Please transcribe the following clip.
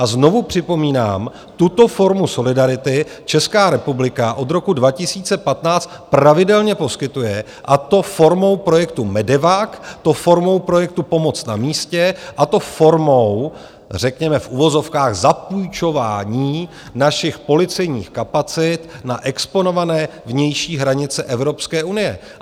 A znovu připomínám, tuto formu solidarity Česká republika od roku 2015 pravidelně poskytuje, a to formou projektu MEDEVAC, to formou projektu Pomoc na místě, a to formou, řekněme, v uvozovkách, zapůjčování našich policejních kapacit na exponované vnější hranice Evropské unie.